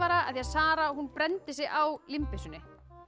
af því að Sara brenndi sig á límbyssunni